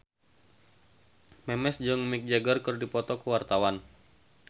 Memes jeung Mick Jagger keur dipoto ku wartawan